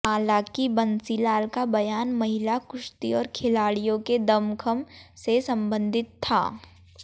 हालांकि बंसीलाल का बयान महिला कुश्ती और खिलाड़ियों के दमखम से संबंधित था